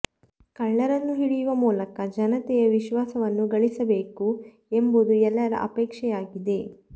ಕಳ್ಳರನ್ನು ಹಿಡಿಯುವ ಮೂಲಕ ಜನತೆಯ ವಿಶ್ವಾಸವನ್ನು ಗಳಿಸಬೇಕು ಎಂಬುದು ಎಲ್ಲರ ಅಪೇಕ್ಷೆಯಾಗಿದೆ